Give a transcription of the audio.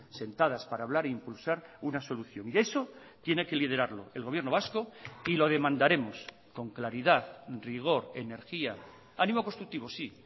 sentadas para hablar e impulsar una solución y eso tiene que liderarlo el gobierno vasco y lo demandaremos con claridad rigor energía ánimo constructivo sí